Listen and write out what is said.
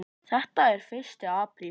Þetta er fyrsti apríl.